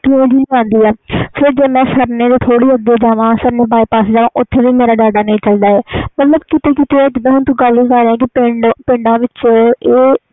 ਜੇ ਮੈਂ ਸਰਨੇ ਤੋਂ ਅਗੇ ਸਰਨੇ ਬਾਈਪਾਸ ਜਾਵਾ ਓਥੇ ਵੀ ਮੇਰਾ data ਨਹੀਂ ਚਲਦਾ ਹੈ ਪਾਰ ਏਹ ਕੀਤੇ ਕੀਤੇ ਆ